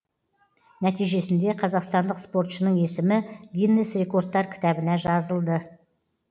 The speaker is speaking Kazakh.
нәтижесінде қазақстандық спортшының есімі гиннес рекордтар кітабына жазылды